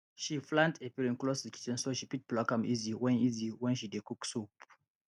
she plant efirin close to kitchen so she fit pluck am easy when easy when she dey cook soup